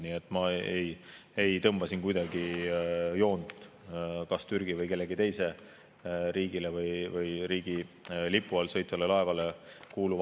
Nii et ma ei tõmba siin kuidagi joont kas Türgile või mõnele teisele riigile kuuluva aluse või mõne teise riigi lipu all sõitva laeva puhul.